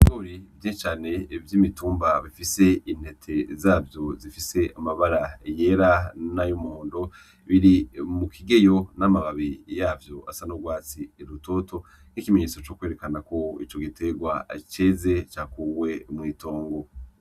Ibigori vyinshi cane vy'imitumba bifise intete zavyo zifise amabara yera n'ayumuhondo biri mu kigeyo n'amababi yavyo asa n'urwatsi rutoto nk'ikimenyetso co kwerekana ko ico giterwa ceze, cakuwe mw'itongo.